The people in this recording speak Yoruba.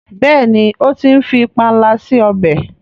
béèni o tí ń fí panla sí ọbẹ.